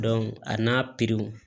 a n'a